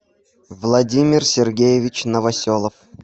владимир сергеевич новоселов